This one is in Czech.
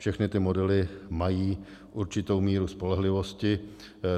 Všechny ty modely mají určitou míru spolehlivosti.